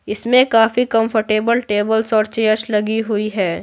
इसमें काफी comfortable tables और चेयर्स लगी हुई है।